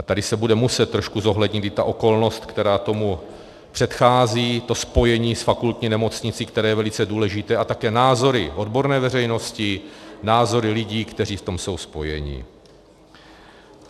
A tady se bude muset trošku zohlednit i ta okolnost, která tomu předchází, to spojení s fakultní nemocnicí, které je velice důležité, a také názory odborné veřejnosti, názory lidí, kteří v tom jsou spojeni.